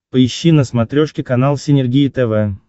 поищи на смотрешке канал синергия тв